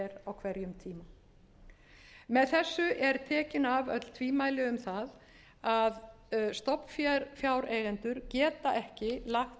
á hverjum tíma með þessu eru tekin af öll tvímæli um það að stofnfjáreigendur geta ekki lagt